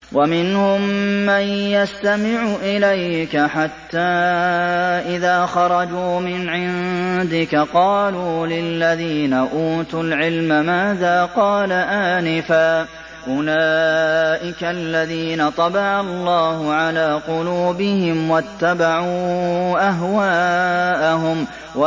وَمِنْهُم مَّن يَسْتَمِعُ إِلَيْكَ حَتَّىٰ إِذَا خَرَجُوا مِنْ عِندِكَ قَالُوا لِلَّذِينَ أُوتُوا الْعِلْمَ مَاذَا قَالَ آنِفًا ۚ أُولَٰئِكَ الَّذِينَ طَبَعَ اللَّهُ عَلَىٰ قُلُوبِهِمْ وَاتَّبَعُوا أَهْوَاءَهُمْ